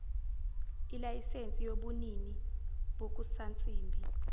ilayisensi yobunini bokusansimbi